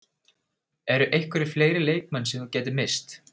Eru einhverjir fleiri leikmenn sem þú gætir misst?